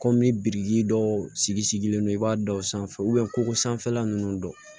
Kɔmi biriki dɔw sigi sigilen do i b'a dɔw sanfɛ ko sanfɛla ninnu dɔn